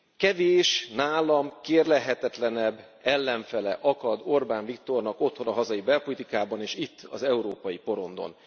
Kevés nálam kérlelhetetlenebb ellenfele akad Orbán Viktornak otthon, a hazai belpolitikában és itt az európai porondon.